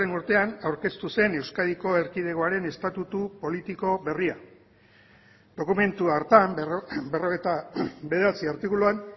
urtean aurkeztu zen euskadiko erkidegoaren estatutu politiko berria dokumentu hartan berrogeita bederatzi artikuluan